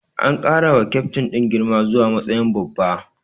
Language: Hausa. An ƙara wa kyaftin din girma zuwa matsayin babba.